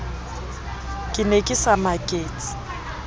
ke ne ke sa maketse